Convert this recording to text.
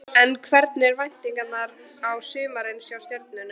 En hverjar eru væntingarnar til sumarsins hjá Stjörnunni?